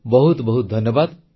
ବହୁତ ବହୁତ ଧନ୍ୟବାଦ